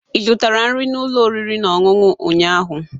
Ị zụtara nri na ụlọ oriri na ọṅụṅụ ụnyaahụ?